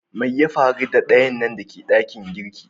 Mai ya faru da ayanan da ke dakin girki?